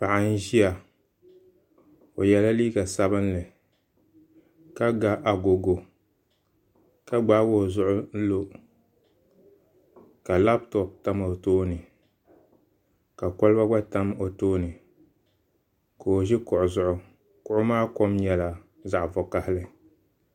Paɣa n ʒiya o yɛla liiga sabinli ka ga agogo ka gbaagi o zuɣu n lo ka labtop tam o tooni ka kolba gba tam o tooni ka o ʒi kuɣu zuɣu kuɣu maa kom nyɛla zaɣ vakaɣali